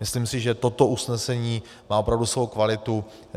Myslím si, že toto usnesení má opravdu svou kvalitu.